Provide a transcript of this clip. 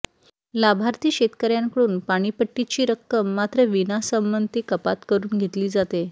लाभार्थी शेतकर्यांकडून पाणीपट्टीची रक्कम मात्र विनासंमती कपात करून घेतली जाते